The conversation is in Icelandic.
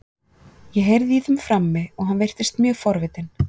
Ég heyrði í þeim frammi og hann virtist mjög forvitinn.